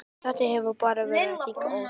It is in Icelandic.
Þetta hefur bara þróast þannig.